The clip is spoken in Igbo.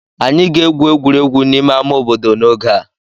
Anyị ga-egwu egwuregwu n'ime ama obodo n'oge a.